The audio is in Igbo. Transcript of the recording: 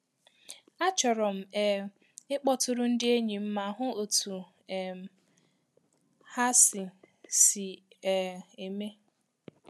Achọrọ m um ịkpọtụrụ ndi enyi m ma hụ otu um ha si si um eme.